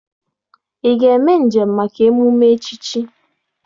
Ị ga-eme njem maka emume nchichi?